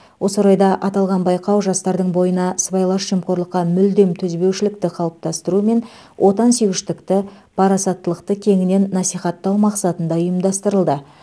осы орайда аталған байқау жастардың бойына сыбайлас жемқорлыққа мүлдем төзбеушілікті қалыптастыру мен отансүйгіштікті парасаттылықты кеңінен насихаттау мақсатында ұйымдастырылды